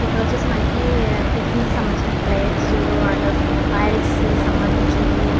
ఇక్కడ వచ్చేసి మనకి టిఫిన్ కి సంభందించిన ప్లేట్స్ అండ్ ఆయిల్ కి సంభందించినవి --